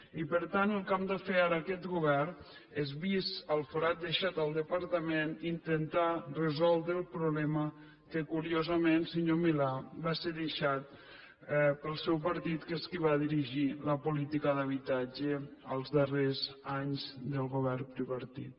i per tant el que ha de fer ara aquest govern és vist el forat deixat al departament intentar resoldre el problema que curiosament senyor milà va ser deixat pel seu partit que és qui va dirigir la política d’habitatge els darrers anys del govern tripartit